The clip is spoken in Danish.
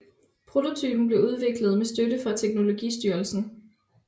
Prototypen blev udviklet med støtte fra teknologistyrelsen